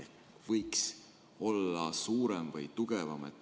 See võiks olla suurem või tugevam.